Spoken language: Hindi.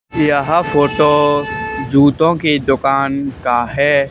यह फोटो जूतो के दुकान का है।